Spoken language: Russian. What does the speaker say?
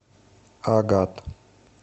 агат